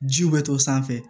Jiw bɛ to sanfɛ